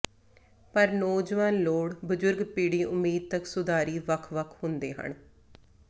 ਪਰ ਨੌਜਵਾਨ ਲੋੜ ਬਜ਼ੁਰਗ ਪੀੜ੍ਹੀ ਉਮੀਦ ਤੱਕ ਸੁਧਾਰੀ ਵੱਖ ਵੱਖ ਹੁੰਦੇ ਹਨ